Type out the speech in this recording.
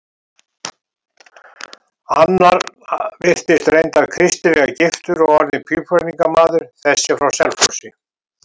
Annar virtist reyndar kristilega giftur og orðinn pípulagningarmaður, þessi frá Selfossi.